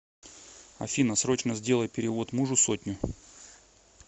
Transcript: афина срочно сделай перевод мужу сотню